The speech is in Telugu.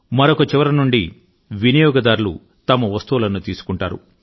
మరొక చివర నుండి వినియోగదారులు తమ వస్తువులను తీసుకుంటారు